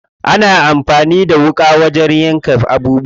Ana amfani da wuƙa wajen yanka abubuwa.